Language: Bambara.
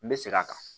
N bɛ segin a kan